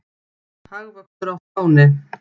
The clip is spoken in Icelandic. Hagvöxtur á Spáni